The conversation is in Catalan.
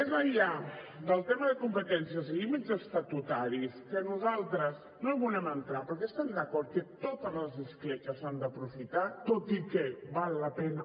més enllà del tema de competències i límits estatutaris que nosaltres no hi volem entrar perquè estem d’acord que totes les escletxes s’han d’aprofitar tot i que val la pena